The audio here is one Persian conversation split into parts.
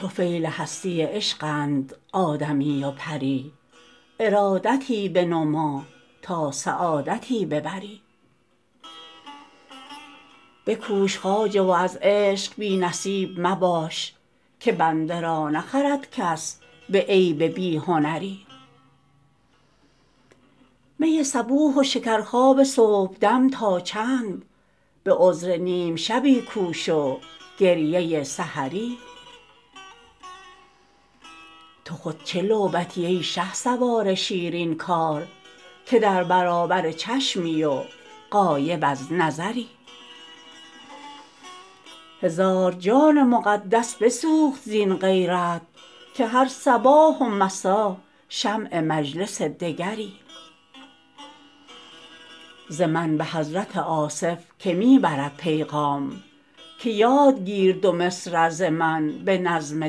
طفیل هستی عشقند آدمی و پری ارادتی بنما تا سعادتی ببری بکوش خواجه و از عشق بی نصیب مباش که بنده را نخرد کس به عیب بی هنری می صبوح و شکرخواب صبحدم تا چند به عذر نیم شبی کوش و گریه سحری تو خود چه لعبتی ای شهسوار شیرین کار که در برابر چشمی و غایب از نظری هزار جان مقدس بسوخت زین غیرت که هر صباح و مسا شمع مجلس دگری ز من به حضرت آصف که می برد پیغام که یاد گیر دو مصرع ز من به نظم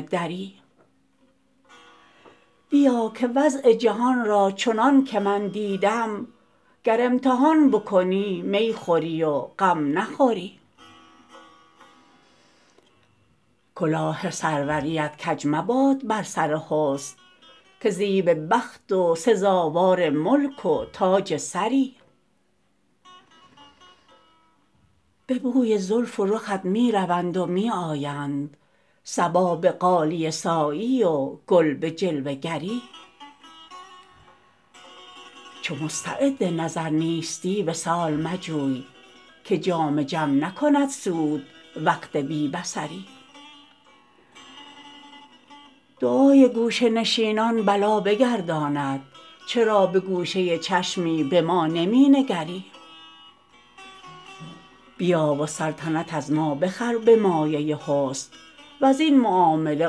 دری بیا که وضع جهان را چنان که من دیدم گر امتحان بکنی می خوری و غم نخوری کلاه سروریت کج مباد بر سر حسن که زیب بخت و سزاوار ملک و تاج سری به بوی زلف و رخت می روند و می آیند صبا به غالیه سایی و گل به جلوه گری چو مستعد نظر نیستی وصال مجوی که جام جم نکند سود وقت بی بصری دعای گوشه نشینان بلا بگرداند چرا به گوشه چشمی به ما نمی نگری بیا و سلطنت از ما بخر به مایه حسن وزین معامله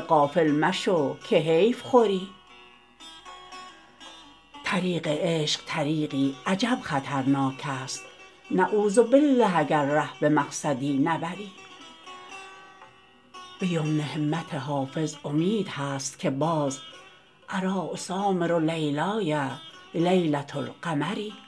غافل مشو که حیف خوری طریق عشق طریقی عجب خطرناک است نعوذبالله اگر ره به مقصدی نبری به یمن همت حافظ امید هست که باز اریٰ اسامر لیلای لیلة القمری